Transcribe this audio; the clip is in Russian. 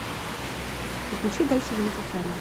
подключи дальше живите сами